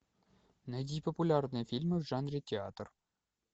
найди популярные фильмы в жанре театр